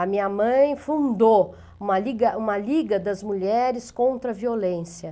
A minha mãe fundou uma liga uma liga das mulheres contra a violência.